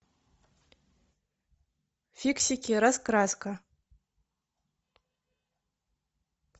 фиксики раскраска